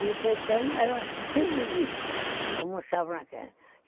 E o Caetano era civilista, como eu estava naquela.